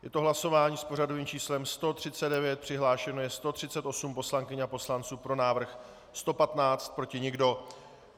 Je to hlasování s pořadovým číslem 139, přihlášeno je 138 poslankyň a poslanců, pro návrh 115, proti nikdo.